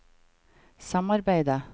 samarbeidet